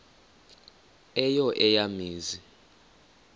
eyo eya mizi